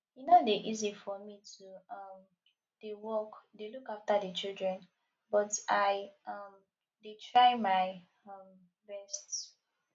e no dey easy for me to um dey work dey look after the children but i um dey try my um best